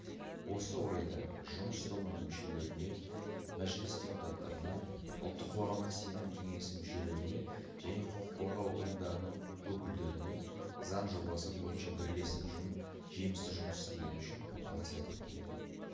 осы орайда жұмыс тобының мүшелеріне мәжіліс депутаттарына ұлттық қоғамдық сенім кеңесі мүшелеріне және құқық қорғау ұйымдарының өкілдеріне заң жобасы бойынша бірлесіп жемісті жұмыс істегені үшін алғыс айтқым келеді